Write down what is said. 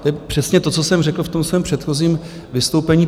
To je přesně to, co jsem řekl v tom svém předchozím vystoupení.